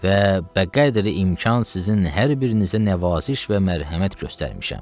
Və bəqədri imkan sizin hər birinizə nəvaziş və mərhəmət göstərmişəm.